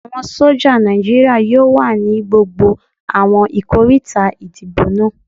Àwọn sójà Nàìjíríyà yóò wà ní gbogbo àwọn ikoríta ìdìbò náà